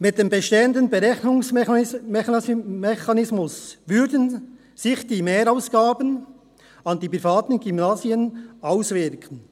Mit dem bestehenden Berechnungsmechanismus würden sich die Mehrausgaben bei den privaten Gymnasien auswirken.